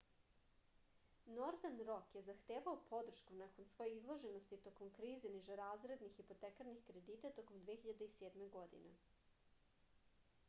nordern rok je zahtevao podršku nakon svoje izloženosti tokom krize nižerazrednih hipotekarnih kredita tokom 2007. godine